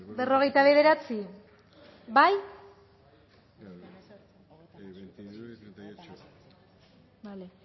berrogeita bederatzi bozkatu